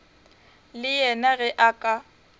le yena ge a ka